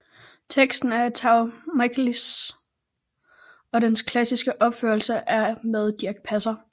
Teksten er af Tao Michaëlis og dens klassiske opførelse er med Dirch Passer